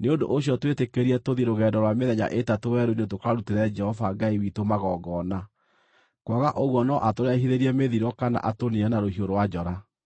Nĩ ũndũ ũcio twĩtĩkĩrie tũthiĩ rũgendo rwa mĩthenya ĩtatũ werũ-inĩ tũkarutĩre Jehova Ngai witũ magongona, kwaga ũguo no atũrehithĩrie mĩthiro kana atũniine na rũhiũ rwa njora.”